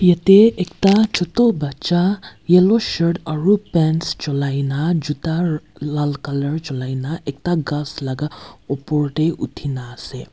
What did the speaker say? yatae ekta choto bacha yellow shirt aro pants cholaikae na juta laal colour julai na ekta ghas la opor tae uthi naase.